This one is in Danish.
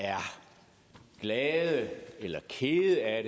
er glad eller ked af